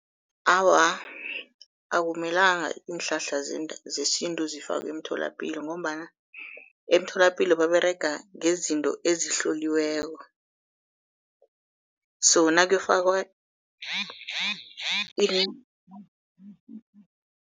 Awa, akumelanga iinhlahla zesintu zifakwe emtholapilo, ngombana emtholapilo baberega ngezinto ezihloliweko, so nakuyokufakwa .